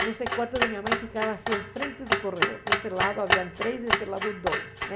Então, o quarto da minha mãe ficava assim, em frente do corredor, desse lado havia três, desse lado dois, né?